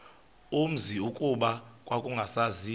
umzi kuba kwakungasaziwa